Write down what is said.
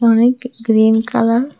অনেক green colour --